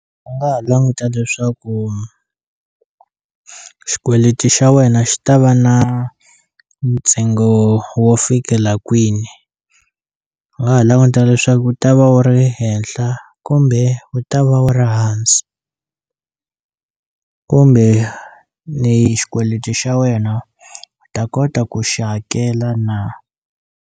U nga ha languta leswaku xikweleti xa wena xi ta va na ntsengo wo fikela kwini u nga ha languta leswaku wu ta va wu ri henhla kumbe wu ta va wu ri hansi kumbe ni xikweleti xa wena u ta kota ku xi hakela na.